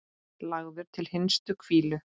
Lagður til hinstu hvílu?